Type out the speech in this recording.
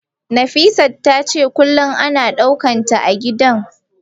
Nafisat tace kullum ana dukanta a gidan.